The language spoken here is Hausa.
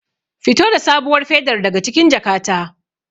Fito da sabuwar fedar daga cikin jakata.